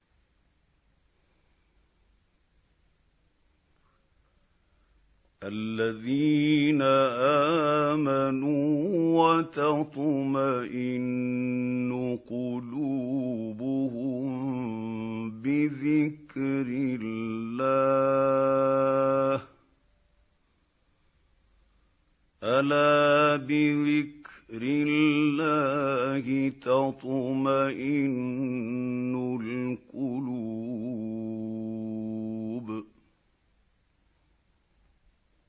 الَّذِينَ آمَنُوا وَتَطْمَئِنُّ قُلُوبُهُم بِذِكْرِ اللَّهِ ۗ أَلَا بِذِكْرِ اللَّهِ تَطْمَئِنُّ الْقُلُوبُ